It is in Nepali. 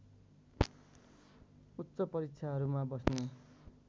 उच्च परीक्षाहरूमा बस्ने